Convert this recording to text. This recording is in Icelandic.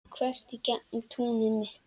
Þvert í gegnum túnið mitt.